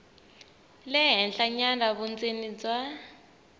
le henhlanyana vundzeni bya